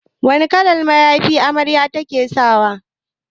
Wane kalan mayafi amaryar ta saka?